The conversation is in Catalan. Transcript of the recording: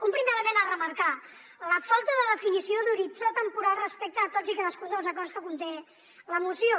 un primer element a remarcar la falta de definició d’horitzó temporal respecte a tots i cadascun dels acords que conté la moció